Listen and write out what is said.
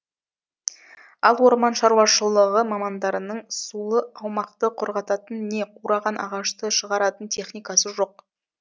ал орман шаруашылығы мамандарының сулы аумақты құрғататын не қураған ағашты шығаратын техникасы жоқ